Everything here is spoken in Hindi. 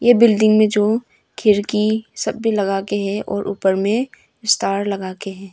बिल्डिंग में जो खिड़की सब भी लगाके है और ऊपर में स्टार लगा के है।